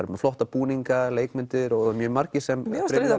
er með flotta búninga leikmynd og mjög margir sem mér fannst